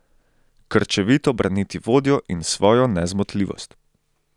Krčevito braniti vodjo in svojo nezmotljivost.